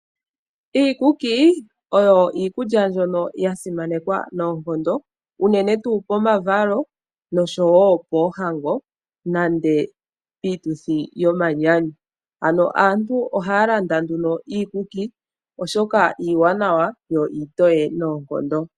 Iikuki oyo iikulya mbyoka yasimanekwa nooonkondo unene tuu pomavalo nosho wo poohango nende piituthi yomanyanyu. Aantu ohaya landa nduno iikuki oshoka iiwanawa yo iitoye noonkondo.